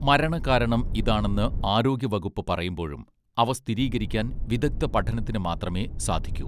മരണ കാരണം ഇതാണെന്ന് ആരോഗ്യ വകുപ്പ് പറയുമ്പോഴും അവ സ്ഥിരീകരിക്കാൻ വിദഗ്ധ പഠനത്തിന് മാത്രമേ സാധിക്കു